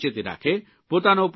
પોતાનો પણ ખ્યાલ રાખે